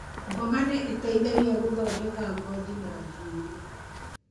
Mboga nĩ ĩteithagĩa gũthondeka ngothi na njuĩrĩ.